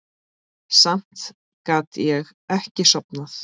Samt gat ég ekki sofnað.